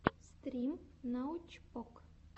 стрим научпок